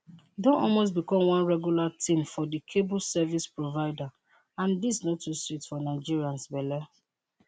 e don almost become one regular tin for di cable service provider and dis no too sweet for nigerians belle